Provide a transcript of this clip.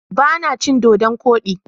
Ba na cin Dodon kodi.